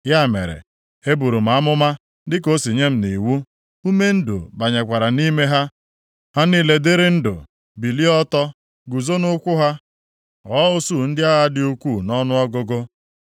Ya mere, eburu m amụma dịka o si nye m nʼiwu. Ume ndụ banyekwara nʼime ha. Ha niile dịịrị ndụ, bilie ọtọ, guzo nʼụkwụ ha, ghọọ usuu ndị agha dị ukwuu nʼọnụọgụgụ.